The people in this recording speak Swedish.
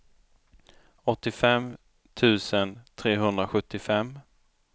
åttiofem tusen trehundrasjuttiofem